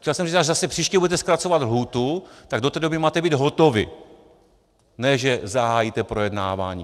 Chtěl jsem říct, až zase příště budete zkracovat lhůtu, tak do té doby máte být hotovi, ne že zahájíte projednávání.